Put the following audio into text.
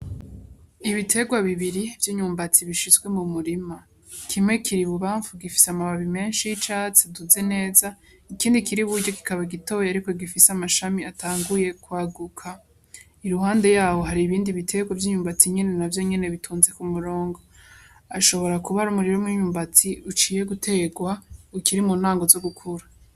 Ibiterwa bibiri vy'inyumbatsi bishitswe mu murima kimwe kiri bubamfu gifise amababi menshi y'icatsi aduze neza ikindi kiri buryo gikaba gitoye, ariko gifise amashami atanguye kwaguka i ruhande yawo hari ibindi biterwa vy'inyumbatsi nyene na vyo nyene bitunze ku murongo ashobora kuba ari umurima mw'inyumbatsi uciye guterwa ukiri mu ntango zo gukura.